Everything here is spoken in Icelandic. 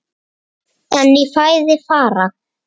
En í fæði fara